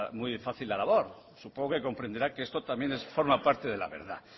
muy fácil la labor supongo que comprenderá que esto también forma parte de la verdad